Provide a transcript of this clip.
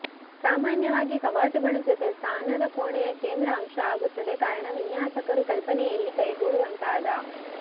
ಸಾಮಾನ್ಯವಾಗಿ ಕವಾಟುಗಳು ಜೊತೆ ಸ್ನಾನದ ಕೋಣೆಯ ಕೇಂದ್ರ ಅಂಶ ಆಗುತ್ತದೆ ಕಾರಣ ವಿನ್ಯಾಸಕರು ಕಲ್ಪನೆಯ ಇಲ್ಲಿ ಕೈಗೂಡುವಂತಾದ